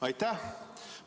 Aitäh!